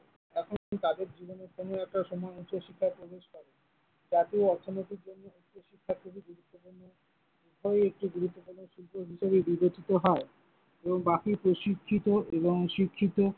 এমনকি তাদের জীবনের কোনো একটা উচ্চ শিক্ষার জাতীয় অর্থনীতি উভয়ই একটি গুরুত্বপূর্ণ বিষয় হিসেবে বিবেচিত হয় ও বাকি প্রশিক্ষিত এবং শিক্ষিত